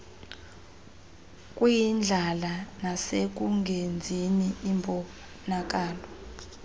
kwindlala nasekungenzini imbonakalo